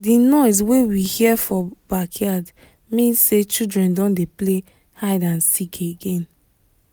the noise wey we hear for backyard mean say children don dey play hide and seek again